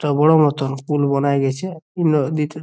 তোমার মতো উল বনাই গেছে ।